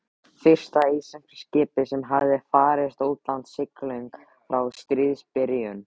Fyrsta íslenska skipið sem hafði farist í utanlandssiglingum frá stríðsbyrjun.